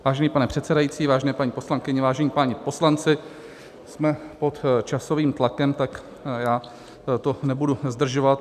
Vážený pane předsedající, vážené paní poslankyně, vážení páni poslanci, jsme pod časovým tlakem, tak já to nebudu zdržovat.